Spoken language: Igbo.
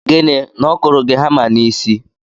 Gịnị? Na ọ kụrụ gị hama n'isi?